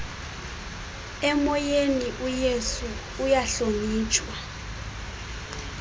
emoyeni uyesu uyahlonitshwa